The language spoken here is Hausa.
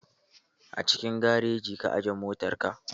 A cikin garajin ka aje motar ka?